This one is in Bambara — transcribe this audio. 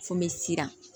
Fo n bɛ siran